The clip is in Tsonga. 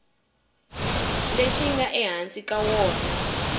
lexi nga ehansi ka wona